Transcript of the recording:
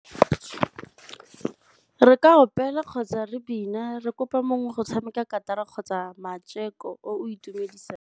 Re ka opela kgotsa re bina re kopa mongwe go tshameka katara kgotsa o o itumedisang.